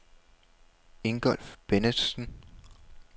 Ingolf Bennetsen